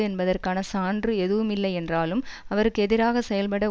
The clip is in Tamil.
என்பதற்கான சான்று எதுவுமில்லையென்றாலும் அவருக்கு எதிராக செயல்பட